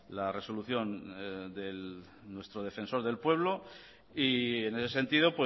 la resolución del nuestro defensor del pueblo y en ese sentido